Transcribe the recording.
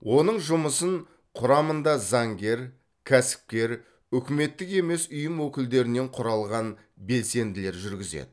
оның жұмысын құрамында заңгер кәсіпкер үкіметтік емес ұйым өкілдерінен құралған белсенділер жүргізеді